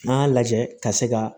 N'an y'a lajɛ ka se ka